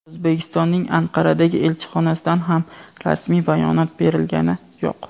O‘zbekistonning Anqaradagi elchixonasidan ham rasmiy bayonot berilgani yo‘q.